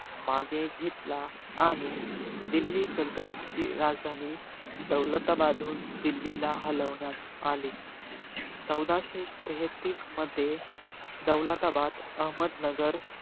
मागे घेतला. आणि दिल्ली सल्तनतची राजधानी, दौलताबाद हुन दिल्लीला हलवण्यात आली. चौदाशे तेहेतीस मध्ये, दौलताबाद अहमदनगर,